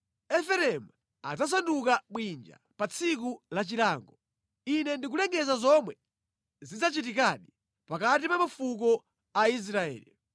Efereimu adzasanduka bwinja pa tsiku la chilango. Ine ndikulengeza zomwe zidzachitikadi pakati pa mafuko a Israeli.